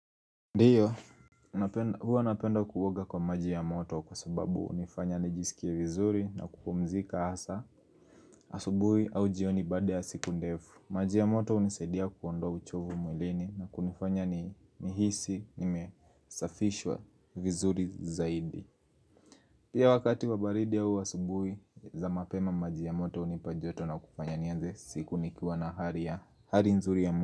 Ndiyo, huwa napenda kuoga kwa maji ya moto kwa sababu hunifanya nijisikie vizuri na kupumzika hasa asubui au jioni baada ya siku ndefu Maji ya moto hunisaidia kuondoa uchovu mwilini na kunifanya nihisi nimesafishwa vizuri zaidi Pia wakati wa baridi au asubui za mapema maji ya moto hunipa joto na kufanya nianze siku nikiwa na hali ya hali nzuri ya.